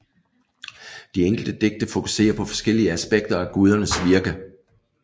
De enkelte digte fokuserer på forskellige aspekter af gudernes virke